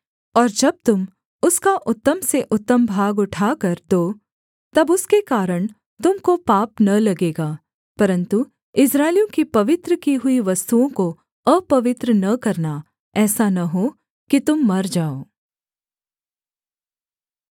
और जब तुम उसका उत्तम से उत्तम भाग उठाकर दो तब उसके कारण तुम को पाप न लगेगा परन्तु इस्राएलियों की पवित्र की हुई वस्तुओं को अपवित्र न करना ऐसा न हो कि तुम मर जाओ